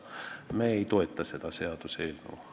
Me ei toeta seda seaduseelnõu.